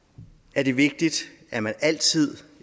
er det vigtigt at man altid